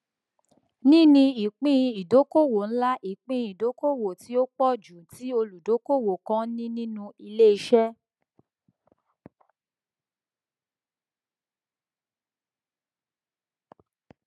níní ìpín ìdókòwò ńlá ìpín ìdókòwò tí ó pọ jù tí olùdókòwò kan ní nínú iléiṣẹ